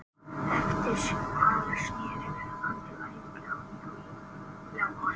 Eftir hana snéri hann til æfinga að nýju í janúar.